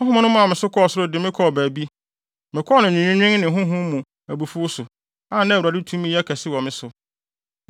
Honhom no maa me so kɔɔ soro de me kɔɔ baabi, mekɔɔ no nweenwen ne honhom mu abufuw so, a na Awurade tumi yɛ kɛse wɔ me so.